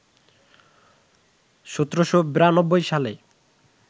১৭৯২ সালে